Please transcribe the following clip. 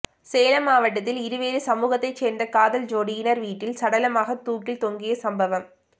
சேலம் மாவட்டத்தில் இரு வேறு சமூகத்தை சேர்ந்த காதல் ஜோடியினர் வீட்டில் சடலமாக தூக்கில் தொங்கிய சம்பவம்